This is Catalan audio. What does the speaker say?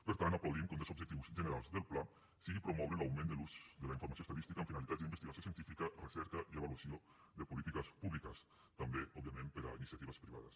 per tant aplaudim que un dels objectius generals del pla sigui promoure l’augment de l’ús de la informació estadística amb finalitats d’investigació científica recerca i avaluació de polítiques públiques també òbviament per a iniciatives privades